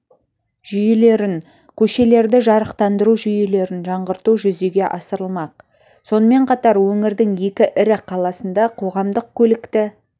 жүйелерін көшелерді жарықтандыру жүйелерін жаңғырту жүзеге асырылмақ сонымен қатар өңірдің екі ірі қаласында қоғамдық көлікті